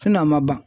a ma ban